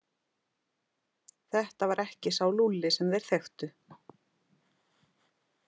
Þetta var ekki sá Lúlli sem þeir þekktu.